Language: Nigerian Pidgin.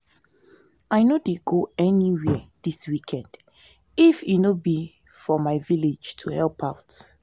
i no dey go anywhere dis weekend if e no be for my village to help out